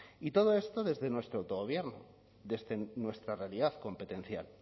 y todo esto desde nuestro autogobierno desde nuestra realidad competencial